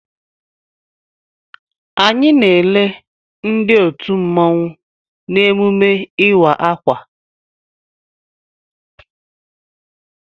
Anyị na-ele ndị otu mmanwụ n'emume ịwa akwa.